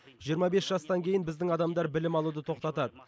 жиырма бес жастан кейін біздің адамдар білім алуды тоқтатады